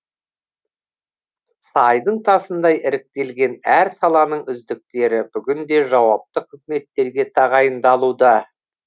сайдың тасындай іріктелген әр саланың үздіктері бүгінде жауапты қызметтерге тағайындалуда